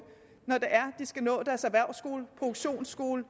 der skal nå deres erhvervsskole produktionsskole